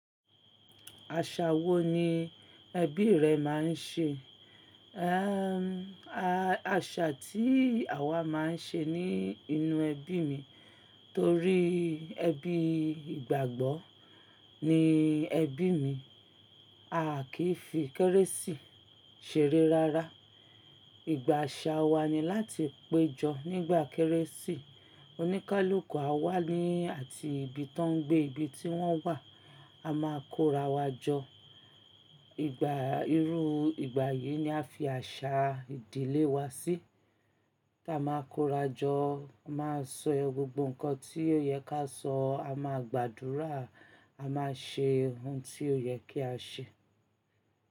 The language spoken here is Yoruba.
Àṣà wo ni ẹbí rẹ máa ń ṣe? Àṣà tí àwa máa ń ṣe ní inú ẹbí mi torí ẹbí ìgbàgbọ́ ni ẹbí mi, a kìí fi kérésì ṣere rárá. Ìgbà à ṣà wa ni láti péjọ nígbà kérésì, oníkálukú á wá ní àti ibi tó ń gbé, ibi tí wọ́n wà, a máa kórawọ́ jọ. Ìgbà irú ìgbà yìí ni a fi à ṣà ìdílé wa sí. Ta máa kóra jọ, a máa sọ gbogbo nǹkan tí ó yẹ ká sọ, a máa gbàdúrà, a máa ṣe ohun tí ó yẹ kí a ṣe.